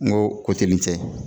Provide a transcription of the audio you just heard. Ŋo o te nin cɛ